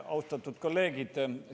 Austatud kolleegid!